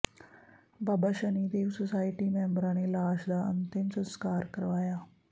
ਬਾਬਾ Shanidev society ਮੈਂਬਰਾਂ ਨੇ ਲਾਸ਼ ਦਾ ਅੰਤਿਮ ਸੰਸਕਾਰ ਕਰਵਾਇਆ